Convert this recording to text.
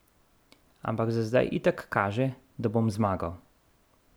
Ampak za zdaj itak kaže, da bom zmagal.